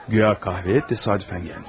Guya qəhvəyə təsadüfən gəlmiş.